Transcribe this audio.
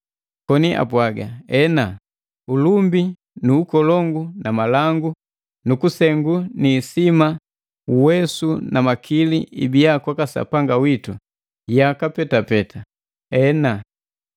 koni apwaga, “Ena! Ulumbi nu ukolongu na malangu nukusengu ni isima uwesu na makili ibia kwaka Sapanga witu, yaka petapeta! Ena!”